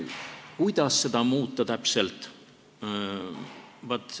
Kuidas täpselt seda muuta?